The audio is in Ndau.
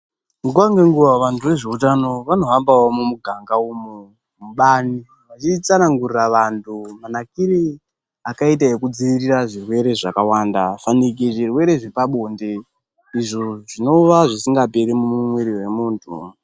Nguwa nenguwa vantu vezveutano vanohambawo mumuganga umu mubani vachitsanangurira vantu manakire akaita kudzivirira zvirwere zvakawanda fanika zvirwere zvepabonde izvo zvivova zvisingaperi mumwiri memuntu.